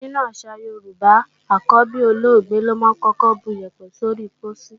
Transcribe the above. Nínú àṣà Yorùbá, àkọ́bí olóògbé lọ́ máa ń kọ́kọ́ buyẹ̀pẹ̀ sóri pósí.